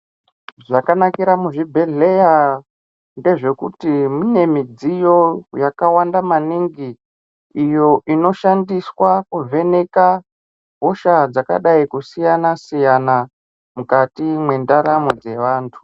Zvakanakira muzvibhedhleya ndezvekuti mune midziyo yakawanda maningi iyo inoshandiswa kuvheneka hosha dzakadai kusiyana-siyana mukati mwendaramo dzevantu.